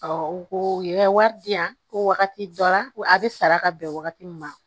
u ko u ye wari di yan ko wagati dɔ la ko a bɛ sara ka bɛn wagati min ma